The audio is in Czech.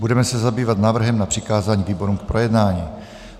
Budeme se zabývat návrhem na přikázání výborům k projednání.